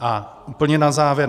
A úplně na závěr.